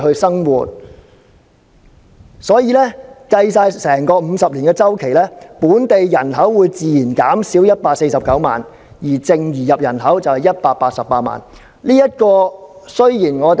因此，在計算整個50年的周期後，本地人口會自然減少149萬，而淨移入人口是188萬。